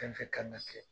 Fɛn fɛn kan ka kɛ